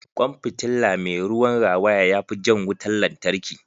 Kwan fitilla mai ruwan rawaya ya fi jan wutar lantarki.